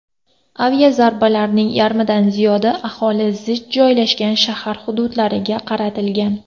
Aviazarbalarning yarmidan ziyodi aholi zich joylashgan shahar hududlariga qaratilgan.